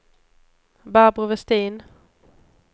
Barbro Vestin